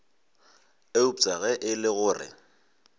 eupša ge e le gore